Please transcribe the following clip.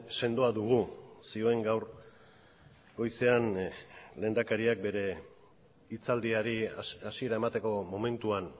sendoa dugu zioen gaur goizean lehendakariak bere hitzaldiari hasiera emateko momentuan